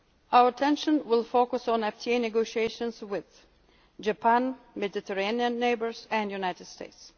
trade partners. Our attention will focus on FTA negotiations with Japan, our Mediterranean neighbours and